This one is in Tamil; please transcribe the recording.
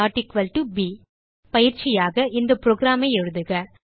ab பயிற்சியாக இந்த புரோகிராம் ஐ எழுதுக